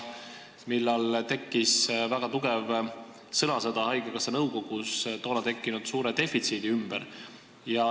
Siis oli haigekassa nõukogus väga tugev sõnasõda tekkinud suure defitsiidi üle.